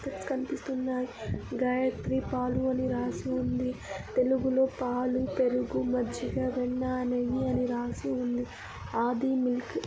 kets కనిపిస్తున్నాయి గాయత్రి పాలు అని రాసి ఉంది తెలుగులో పాలు పెరుగు మజ్జిగ వెన్న నెయ్యి అని రాసి ఉంది ఆది మిల్క్